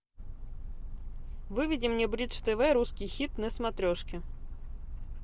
выведи мне бридж тв русский хит на смотрешке